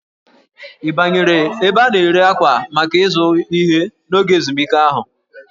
Ị banyere ebe a na-ere akwa maka ịzụ ihe n'oge ezumike ahụ?